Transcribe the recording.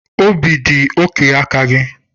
Obi dị oke aka gị.